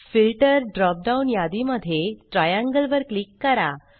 filter drop down यादी मध्ये triangle वर क्लिक करा